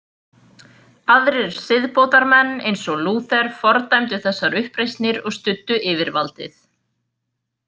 Aðrir siðbótarmenn, eins og Lúther, fordæmdu þessar uppreisnir og studdu yfirvaldið.